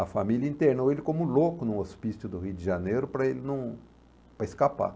A família internou ele como louco no hospício do Rio de Janeiro para ele não para escapar.